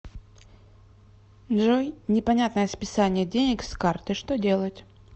джой непонятное списание денег с карты что делать